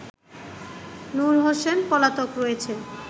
নূর হোসেন পলাতক রয়েছে